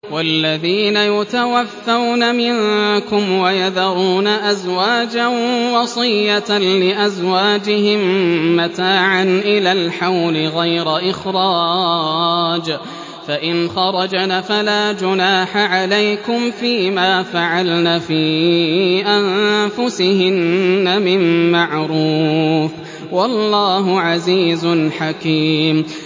وَالَّذِينَ يُتَوَفَّوْنَ مِنكُمْ وَيَذَرُونَ أَزْوَاجًا وَصِيَّةً لِّأَزْوَاجِهِم مَّتَاعًا إِلَى الْحَوْلِ غَيْرَ إِخْرَاجٍ ۚ فَإِنْ خَرَجْنَ فَلَا جُنَاحَ عَلَيْكُمْ فِي مَا فَعَلْنَ فِي أَنفُسِهِنَّ مِن مَّعْرُوفٍ ۗ وَاللَّهُ عَزِيزٌ حَكِيمٌ